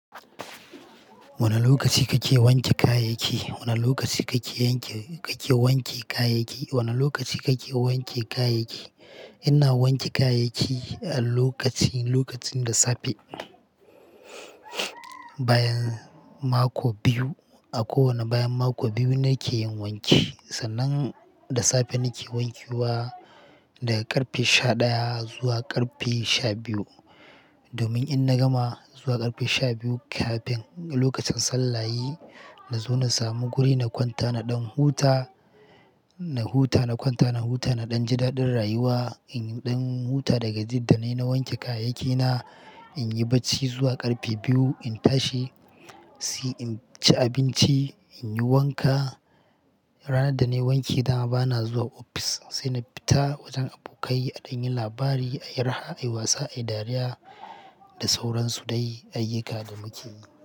Wane lokaci kake wanke kayayyaki? Wane lokaci kake yanke, kake wanke kayayyaki? Wane lokaci kake wanke kayayyaki? Ina wanke kayayyaki a lokaci, lokacin da safe. Bayan mako biyu, a kowane bayan mako biyu nake yin wanki. Sannan da safe nake wanke wa daga ƙarfe sha ɗaya zuwa ƙarfe sha biyu. Domin in na gama zuwa ƙarfe sha biyu kafin lokacin sallayi, na zo na samu guri na kwanta na ɗan huta, na huta, na kwanta, na huta na ɗan ji daɗin rayuwa. In ɗan huta daga ji da na yi na wanke kayayyaki na, in yi barci zuwa ƙarfe biyu, in tashi, sai in ci abinci, in yi wanka. Ranar da na yi wanki dama bana zuwa ofis sai na fita wajen abokai aɗan yin labari, ayi raha, ayi wasa, ayi dariya da sauran su dai ayyuka da muke yi.